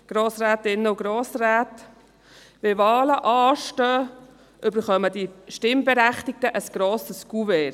Wenn Wahlen anstehen, erhalten die Stimmberechtigten ein grosses Kuvert.